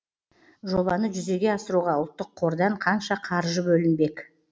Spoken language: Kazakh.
жобаны жүзеге асыруға ұлттық қордан қанша қаржы бөлінбек